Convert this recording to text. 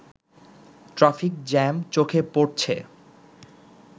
traffic jam চোখে পড়ছে